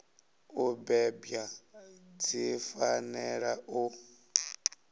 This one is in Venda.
u bebwa dzi fanela u